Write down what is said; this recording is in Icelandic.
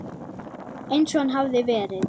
Eins og hann hafði verið.